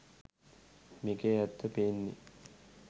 මේකෙ ඇත්ත පේන්නෙ